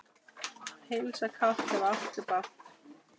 Heilsa kátt, ef áttu bágt.